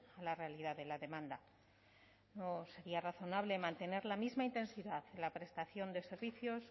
a la realidad de la demanda no sería razonable mantener la misma intensidad en la prestación de servicios